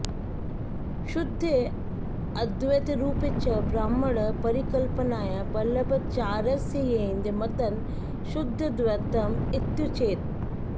शुद्धे अद्वैतरुपे च ब्रह्मणः परिकल्पनया वल्लभाचार्यस्येदं मतं शुद्धाद्वैतम् इत्युच्यते